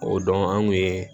O don an kun ye